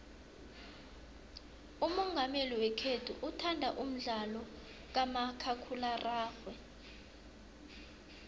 umongameli wekhethu uthanda umdlalo kamakhakhulararhwe